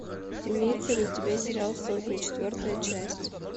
имеется ли у тебя сериал сотня четвертая часть